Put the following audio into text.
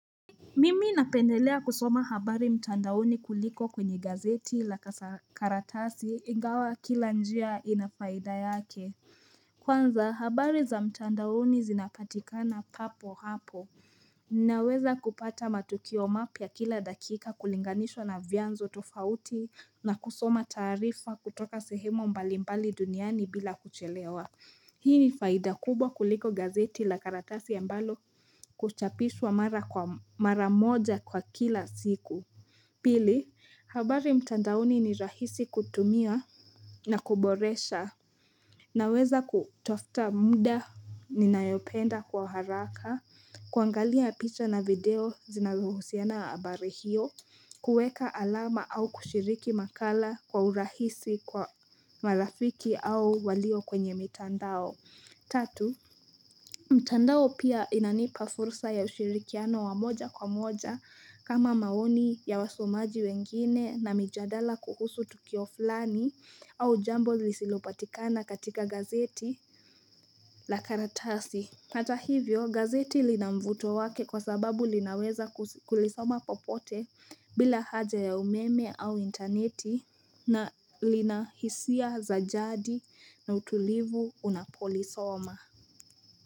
Mimi napendelea kusoma habari mtandaoni kuliko kwenye gazeti la karatasi ingawa kila njia inafaida yake Kwanza habari za mtandaoni zinapatikana papo hapo Ninaweza kupata matukio mapya kila dakika kulinganishwa na vyanzo tofauti na kusoma taarifa kutoka sehemu mbalimbali duniani bila kuchelewa Hii ni faida kubwa kuliko gazeti la karatasi ambalo kuchapishwa mara moja kwa kila siku. Pili, habari mtandaoni ni rahisi kutumia na kuboresha. Naweza kutofta muda ninayopenda kwa haraka, kuangalia picha na video zinazohusiana habari hiyo, kuweka alama au kushiriki makala kwa urahisi kwa marafiki au walio kwenye mitandao. Tatu, mtandao pia inanipa fursa ya ushirikiano wa moja kwa moja kama maoni ya wasomaji wengine na mijadala kuhusu tukio fulani au jambo lisilopatikana katika gazeti la karatasi. Hata hivyo, gazeti lina mvuto wake kwa sababu linaweza kulisoma popote bila haja ya umeme au intneti na lina hisia za jadi na utulivu unapolisoma.